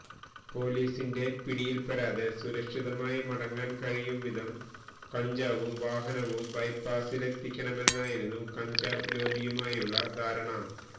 പൊലീസിന്റെ പിടിയിൽപ്പെടാതെ സുരക്ഷിതമായി മടങ്ങാൻ കഴിയും വിധം കഞ്ചാവും വാഹനവും ബൈപ്പാസിലെത്തിക്കണമെന്നായിരുന്നു കഞ്ചാവ് ലോബിയുമായുള്ള ധാരണ